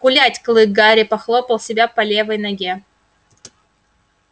гулять клык гарри похлопал себя по левой ноге